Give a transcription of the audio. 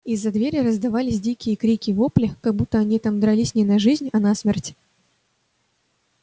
из-за двери раздавались такие дикие крики-вопли как будто они там дрались не на жизнь а на смерть